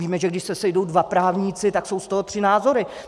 Víme, že když se sejdou dva právníci, tak jsou z toho tři názory.